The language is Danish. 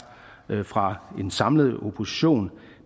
fra en samlet opposition